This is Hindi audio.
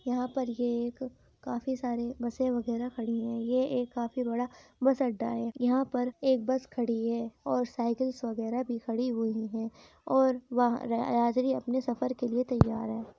यहाँ पर ये एक काफी सारी बसे वगेरा खड़ी हुई हैं। ये एक काफी बड़ा बस अड्डा है। यहाँ पर एक बस खड़ी है और साइकिल वगेरा भी खड़ी हुई हैं और यात्री अपने सफर के लिए तय्यार है।